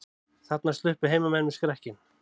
Þarna sluppu heimamenn með skrekkinn